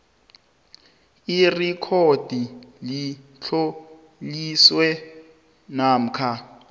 irekhodi litloliwe namkha